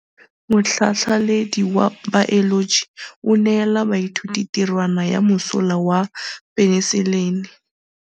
Motlhatlhaledi wa baeloji o neela baithuti tirwana ya mosola wa peniselene.